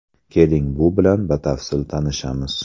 Keling, bu bilan batafsil tanishamiz.